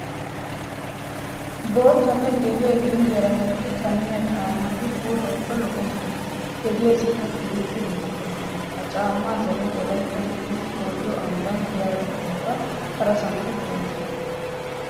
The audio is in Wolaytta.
Boottanne gediya ginddiyaara gatti kammiyaa caammati puulawukka lo'oosonaa gediyaassikka keehippe injjetoosona. Ha caammaa zaree wolaytta giddon sooddo ambban giya giddonkka harasankka de'oosona.